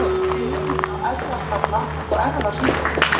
Hver er munurinn á erfðagalla og erfðasjúkdómi?